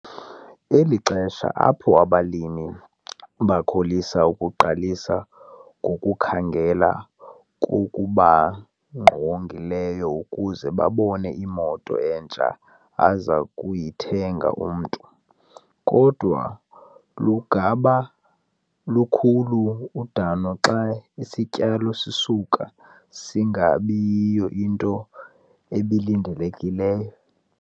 Eli lixesha apho abalimi bakholisa ukuqalisa ngokukhangela kokubangqongileyo ukuze babone imoto entsha aza kuyithenga umntu, kodwa lungaba lukhulu udano xa isityalo sisuka singabi yiyo into ebilindelekile.